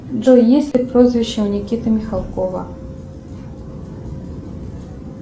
джой есть ли прозвище у никиты михалкова